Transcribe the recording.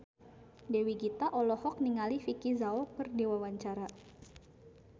Dewi Gita olohok ningali Vicki Zao keur diwawancara